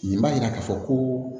Nin b'a yira k'a fɔ ko